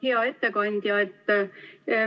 Hea ettekandja!